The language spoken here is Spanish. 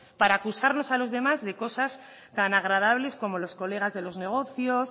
para acusarnos a los demás de cosas tan agradables como los colegas de los negocios